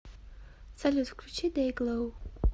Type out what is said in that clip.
салют включи дэйглоу